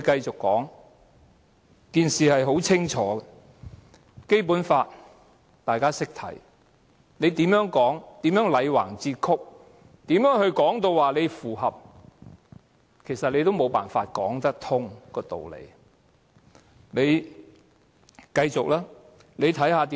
這件事很清楚，大家也懂得看《基本法》，無論政府如何"戾橫折曲"地說符合《基本法》，其實也無法把道理說得通。